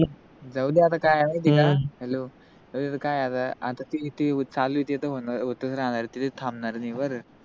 जावू दे आता काय गेल्य hello काय आता, आता जे चालू आहे ते होतच राहणार आहे ते न थांबणार निवर